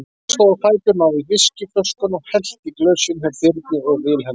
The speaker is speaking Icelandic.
Hann stóð á fætur, náði í viskíflöskuna og hellti í glösin hjá Birni og Vilhelm.